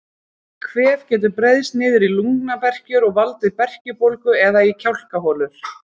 Kvef getur breiðst niður í lungnaberkjur og valdið berkjubólgu eða í kjálkaholur.